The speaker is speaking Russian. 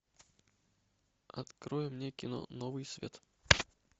открой мне кино новый свет